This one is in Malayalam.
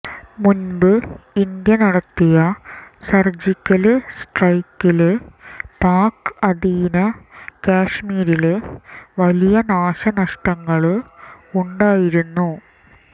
മുമ്പ് ഇന്ത്യ നടത്തിയ സര്ജിക്കല് സ്ട്രൈക്കില് പാക് അധീന കാഷ്മീരില് വലിയ നാശനഷ്ടങ്ങള് ഉണ്ടായിരുന്നു